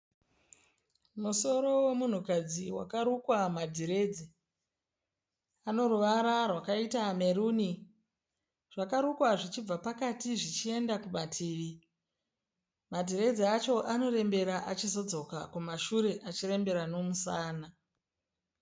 Musoro womunhukadzi wakarukwa madhiredzi anoruvara rwakaita meruni zvakarukwa zvichibva pakati zvichienda kumativi madhiredzi acho anorembera achizodzoka kumashure achirembera nomusana.